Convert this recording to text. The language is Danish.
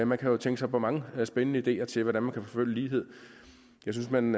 man kan jo tænke sig mange spændende ideer til hvordan man kan forfølge lighed jeg synes man